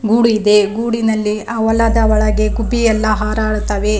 ಗೂಡು ಇದೆ ಗೂಡಿನಲ್ಲಿ ಅ ವಲದ ಒಳಗೆ ಗುಬ್ಬಿಯೆಲ್ಲ ಹಾರಾಡುತ್ತವೆ.